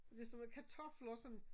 Ligesom med kartofler og sådan